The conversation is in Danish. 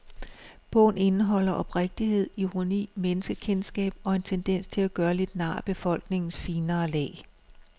Bogen indeholder oprigtighed, ironi, menneskekendskab og en tendens til at gøre lidt nar af befolkningens finere lag.